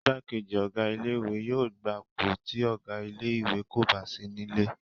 Igbákejì Ọ̀gá ilé ìwé yóò gbapò tí Ọ̀gá ilé ìwé kò bá sí nílé